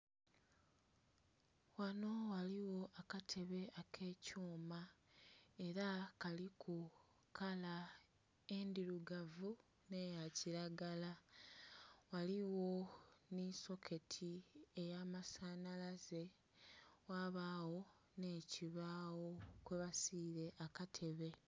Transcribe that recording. Ghanho ghaligho akatebe akekyuma era kaliku kala endhirugavu nh'eyakiragala ghaligho nhe soketi eyamasanhalaze ghabagho nh'ekibagho kwebasire akatebe.